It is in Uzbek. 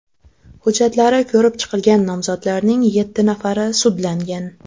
Hujjatlari ko‘rib chiqilgan nomzodlarning yetti nafari sudlangan.